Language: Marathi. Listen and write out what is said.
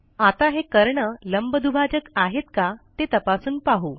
आता हे कर्ण लंबदुभाजक आहेत का ते तपासून पाहू